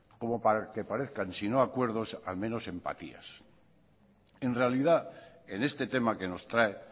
como para que parezcan sino acuerdos al menos empatías en realidad en este tema que nos trae